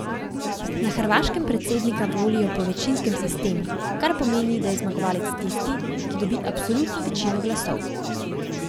Na Hrvaškem predsednika volijo po večinskem sistemu, kar pomeni, da je zmagovalec tisti, ki dobi absolutno večino glasov.